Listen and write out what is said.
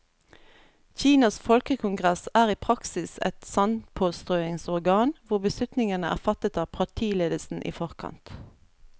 Kinas folkekongress er i praksis et sandpåstrøingsorgan, hvor beslutningene er fattet av partiledelsen i forkant.